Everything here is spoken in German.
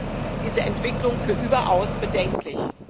Ich halte diese Entwicklung für überaus bedenklich.